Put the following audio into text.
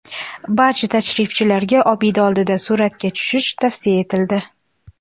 Barcha tashrifchilarga obida oldida suratga tushish tavsiya etildi.